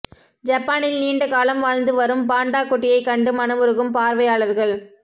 ஜப்பானில் நீண்ட காலம் வாழ்ந்து வரும் பாண்டா குட்டியை கண்டு மனமுருகும் பார்வையாளர்கள்